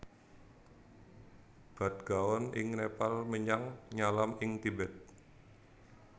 Bhadgaon ing Nepal menyang Nyalam ing Tibet